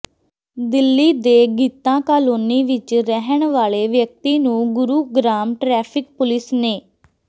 ਦਿੱਲੀ ਦੇ ਗੀਤਾ ਕਾਲੋਨੀ ਵਿਚ ਰਹਿਣ ਵਾਲੇ ਵਿਅਕਤੀ ਨੂੰ ਗੁਰੂਗਰਾਮ ਟ੍ਰੈਫਿਕ ਪੁਲਿਸ ਨੇ